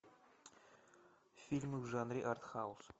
фильмы в жанре артхаус